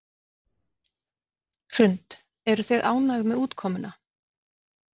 Hrund: Eruð þið ánægð með útkomuna?